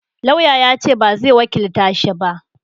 Lauya ya ce ba zai wakilta shi ba